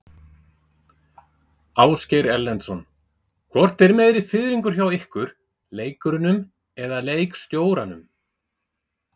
Ásgeir Erlendsson: Hvort er meiri fiðringur hjá ykkur, leikurunum eða leikstjóranum?